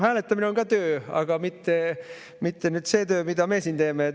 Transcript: Hääletamine on ka töö, aga mitte nüüd see töö, mida meie siin teeme.